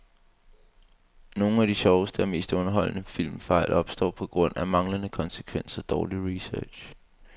Nogle af de sjoveste og mest underholdende filmfejl opstår på grund af manglende konsekvens og dårlig research.